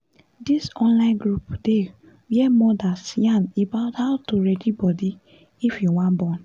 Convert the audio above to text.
this online group dey where mothers yarn about how to ready body if you wan born